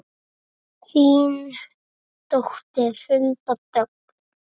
Þín dóttir Hulda Dögg.